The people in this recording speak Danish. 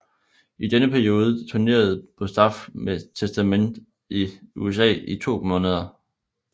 I denne periode turnerede Bostaph med Testament i USA i to måneder